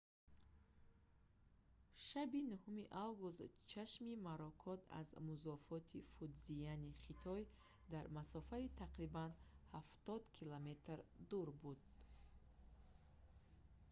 шаби 9 август чашми моракот аз музофоти фудзияни хитой дар масофаи тақрибан ҳафтод километр дур буд